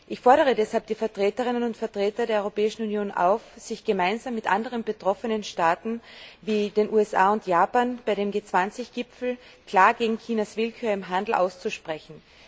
Ich fordere deshalb die Vertreterinnen und Vertreter der Europäischen Union auf, sich gemeinsam mit anderen betroffenen Staaten wie den USA und Japan auf dem G20 Gipfel klar gegen Chinas Willkür im Handel auszusprechen.